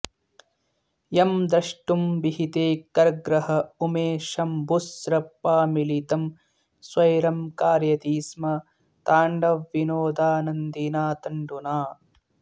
यं द्रष्टुं विहिते करग्रह उमे शम्भुस्त्रपामीलितं स्वैरं कारयति स्म ताण्डवविनोदानन्दिना तण्डुना